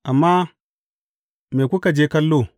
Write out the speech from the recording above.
Amma me kuka je kallo?